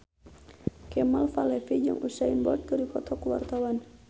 Kemal Palevi jeung Usain Bolt keur dipoto ku wartawan